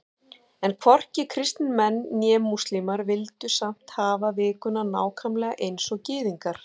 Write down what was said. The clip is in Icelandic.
En hvorki kristnir menn né múslímar vildu samt hafa vikuna nákvæmlega eins og Gyðingar.